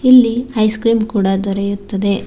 ಇಲ್ಲಿ ice cream ಕೂಡ ದೊರೆಯುತ್ತದೆ.